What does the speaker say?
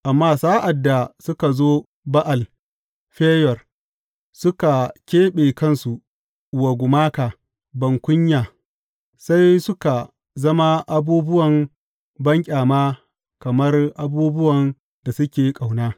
Amma sa’ad da suka zo Ba’al Feyor, suka keɓe kansu wa gumaka bankunya sai suka zama abubuwan banƙyama kamar abubuwan da suke ƙauna.